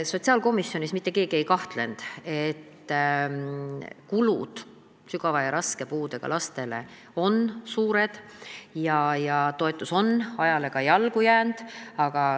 Sotsiaalkomisjonis mitte keegi ei kahelnud, et kulutused sügava ja raske puudega lastele on suured ja toetus on ajale jalgu jäänud.